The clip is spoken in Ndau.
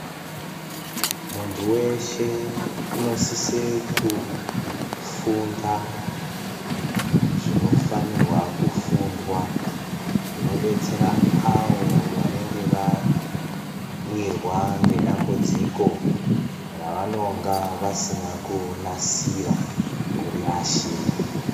Muntu weshe anosise kufunda zvinofanirwa kufundwa zvinodetsera avo vanenge vawirwa ngedambudziko ravanonge vasina kunasira kuri yashira.